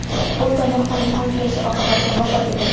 U tomoqdan qon kelishi oqibatida vafot etadi.